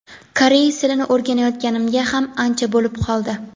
Koreys tilini o‘rganayotganimga ham ancha bo‘lib qoldi.